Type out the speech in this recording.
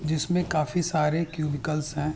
जिसमे काफी सारे क्यूबिकल्स है।